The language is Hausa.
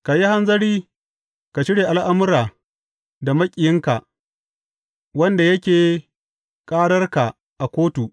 Ka yi hanzari ka shirya al’amura da maƙiyinka wanda yake ƙararka a kotu.